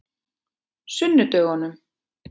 sunnudögunum